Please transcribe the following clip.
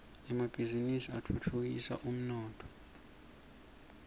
emabhiznnisi atfutfukisa umnotfo